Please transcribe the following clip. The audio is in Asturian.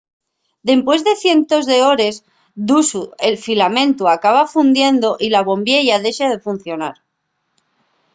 dempués de cientos d'hores d'usu el filamentu acaba fundiendo y la bombiella dexa de funcionar